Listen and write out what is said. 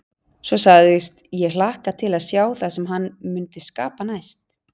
Svo sagðist ég hlakka til að sjá það sem hann mundi skapa næst.